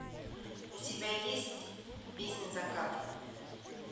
у тебя есть песнь заката